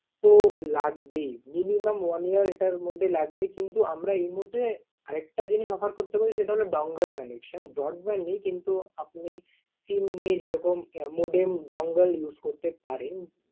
তো লাগবেই। Minumum one year এটার মধ্যে লাগবে কিন্তু আমরা এই মুহূর্তে আরেকটা জিনিস offer করতে পারি সেটা হল dongle connection । Broadband ই কিন্তু আপনি SIM নিয়ে যেরকম modem dongle use করতে পারেন।